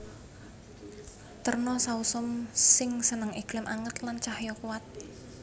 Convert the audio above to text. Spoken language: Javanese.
Terna sausum sing seneng iklim anget lan cahya kuwat